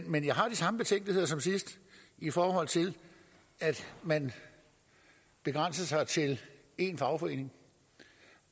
men jeg har de samme betænkeligheder som sidst i forhold til at man begrænser sig til én fagforening